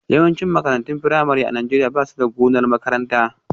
Yawancin makarantun firamare a Najeriya ba su da gonar makaranta